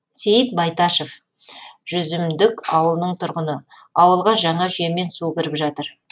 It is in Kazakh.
сейіт байташов жүзімдік ауылының тұрғыны ауылға жаңа жүйемен су кіріп жатыр